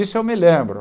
Isso eu me lembro.